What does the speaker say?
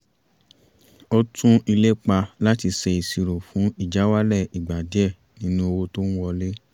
ó tún ìlépa láti ṣe ìṣirò fún ìjáwálẹ̀ ìgbà díẹ̀ nínú owó tó ń wọlé